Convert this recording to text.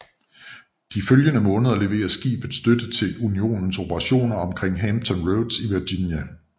De følgende måneder leverede skibet støtte til Unionens operationer omkring Hampton Roads i Virginia